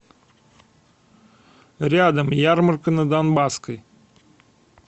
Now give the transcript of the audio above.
рядом ярмарка на донбасской